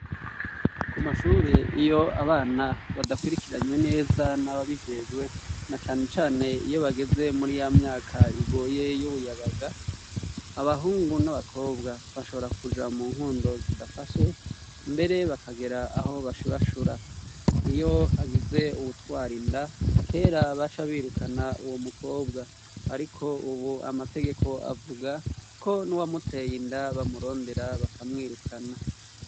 Ku mashure iyo abana badakwirikiranywe neza n'ababijejwe, na canecane iyo bageze muri ya myaka igoye y'ubuyabaga, abahungu n'abakobwa bashobora kuja mu nkundo zidafashe, mbere bakagera aho bashurashura. Iyo hagize uwutwara inda, kera baca birukana uwo mukobwa. Ariko ubu amategeko avuga, ko n'uwamuteye inda bamurondera bakamwirukana.